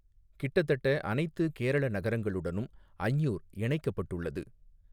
கிட்டத்தட்ட அனைத்து கேரள நகரங்களுடனும் அஞ்ஞூர் இணைக்கப்பட்டுள்ளது.